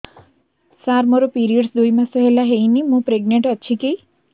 ସାର ମୋର ପିରୀଅଡ଼ସ ଦୁଇ ମାସ ହେଲା ହେଇନି ମୁ ପ୍ରେଗନାଂଟ ଅଛି କି